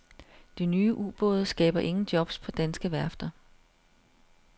De nye ubåde skaber ingen jobs på danske værfter.